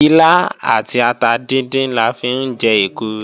Ilá àti ata díndín la fi ń jẹ èkuru